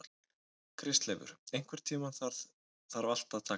Kristleifur, einhvern tímann þarf allt að taka enda.